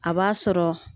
A b'a sɔrɔ